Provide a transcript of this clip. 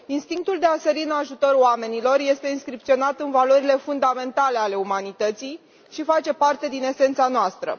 Instinctul de a sări în ajutor oamenilor este inscripționat în valorile fundamentale ale umanității și face parte din esența noastră.